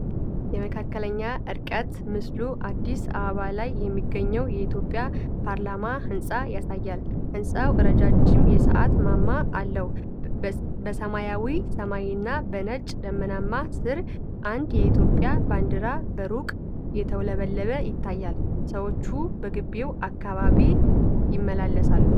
የመካከለኛ ርቀት ምስሉ አዲስ አበባ ላይ የሚገኘውን የኢትዮጵያ ፓርላማ ሕንፃን ያሳያል። ሕንጻው ረጃጅም የሰዓት ማማ አለው። በሰማያዊ ሰማይና በነጭ ደመናዎች ስር፣ አንድ የኢትዮጵያ ባንዲራ በሩቁ እየተውለበለበ ይታያል። ሰዎች በመግቢያው አካባቢ ይመላለሳሉ።